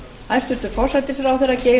hæstvirtur forsætisráðherra verður til